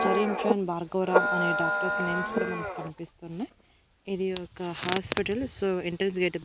చరిం షన్ భార్గవ్ రామ్ అనే doctors names కూడా మనకనిపిస్తున్నాయ్ ఇది ఒక హాస్పిటల్ సో ఎంట్రెన్స్ గేట్ --